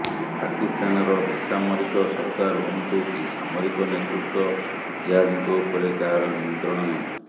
ପାକିସ୍ତାନର ବେସାମରିକ ସରକାର ହୁଅନ୍ତୁ କି ସାମରିକ ନେତୃତ୍ବ ଜେହାଦୀଙ୍କ ଉପରେ କାହାର ନିୟନ୍ତ୍ରଣ ନାହିଁ